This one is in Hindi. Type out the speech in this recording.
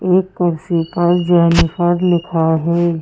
एक कुर्सी पर लिखा है।